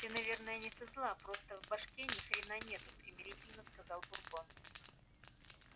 ты наверное не со зла просто в башке ни хрена нету примирительно сказал бурбон